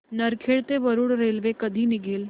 नरखेड ते वरुड रेल्वे कधी निघेल